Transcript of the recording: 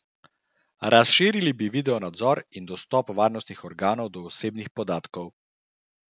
Razširili bi video nadzor in dostop varnostnih organov do osebnih podatkov.